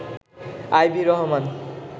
Ivy Rahman